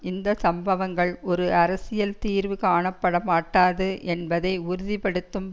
இந்த சம்பவங்கள் ஒரு அரசியல் தீர்வு காணப்பட மாட்டாது என்பதை உறுதி படுத்தும்